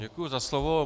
Děkuji za slovo.